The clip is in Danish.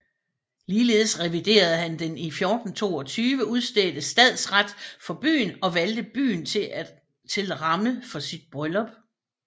Ligeledes reviderede han den i 1422 udstedte stadsret for byen og valgte byen til ramme for sit bryllup